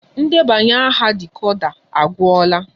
Ndebanya aha dịkoda agwula